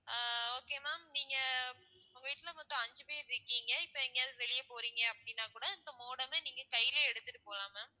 ஆஹ் okay ma'am நீங்க உங்க வீட்டுல மொத்தம் அஞ்சு பேர் இருக்கீங்க இப்போ எங்கையாவது வெளிய போறீங்க அப்படின்னா கூட இந்த modem அ நீங்க கையிலேயே எடுத்துட்டு போகலாம் ma'am